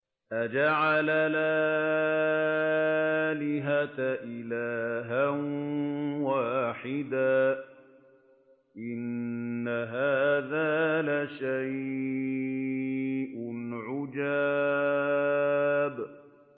أَجَعَلَ الْآلِهَةَ إِلَٰهًا وَاحِدًا ۖ إِنَّ هَٰذَا لَشَيْءٌ عُجَابٌ